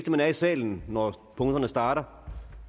at man er i salen når punkterne starter